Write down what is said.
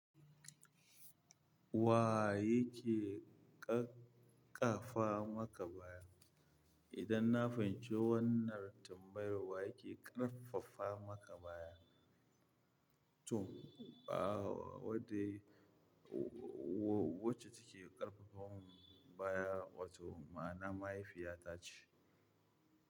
Wa yake ƙaƙaafa maka baya? Idan na fahimci wannan tambayar, wa yake ƙarfafa maka baya? To, a wadda wacce take ƙarfafa mun baya, wato ma'ana mahaifiyata ce.